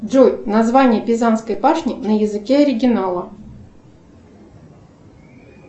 джой название пизанской башни на языке оригинала